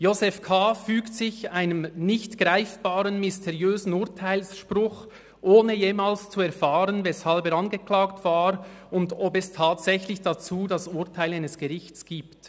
Josef K. fügt sich einem nicht greifbaren, mysteriösen Urteilsspruch, ohne jemals zu erfahren, weshalb er angeklagt war und ob es tatsächlich dazu das Urteil eines Gerichts gibt.